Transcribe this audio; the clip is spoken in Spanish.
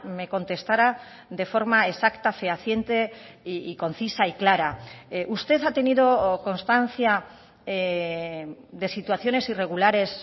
me contestara de forma exacta fehaciente y concisa y clara usted ha tenido constancia de situaciones irregulares